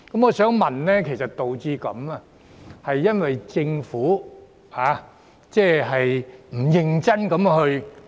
我想問，這是否因為政府沒有認真做工夫？